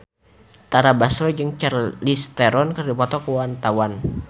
Tara Basro jeung Charlize Theron keur dipoto ku wartawan